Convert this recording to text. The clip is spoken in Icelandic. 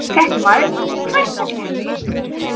Fréttamaður: Hvers vegna ekki?